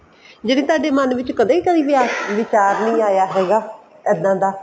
ਜਨੀ ਤੁਹਾਡੇ ਮਨ ਵਿੱਚ ਕਦੇ ਕੋਈ ਵਿਚਾਰ ਨੀ ਆਇਆ ਹੈਗਾ ਇੱਦਾਂ ਦਾ